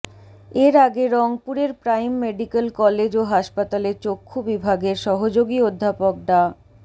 এর আগে রংপুরের প্রাইম মেডিক্যাল কলেজ ও হাসপাতালে চক্ষু বিভাগের সহযোগী অধ্যাপক ডা